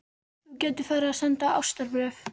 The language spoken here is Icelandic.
Þú gætir farið að senda ástarbréf.